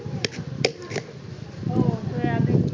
soybean